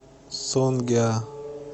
сонгеа